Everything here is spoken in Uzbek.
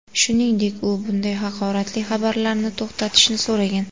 Shuningdek, u bunday haqoratli xabarlarni to‘xtatishni so‘ragan.